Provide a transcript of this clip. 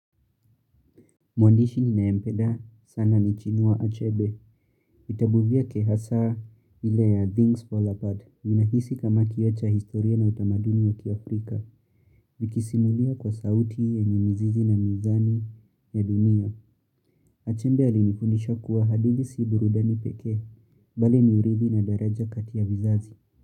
Mwandishi ninaempeda, sana ni chinua achebe, vitabu vyake hasaa ile ya Things Fall Apart, ninahisi kama kiocha historia na utamaduni wa kiafrika, vikisimulia kwa sauti yenye mizizi na mizani ya dunia. Achebe alinifundisha kuwa hadithi si burudani pekee, bali ni urithi na daraja kati ya vizazi.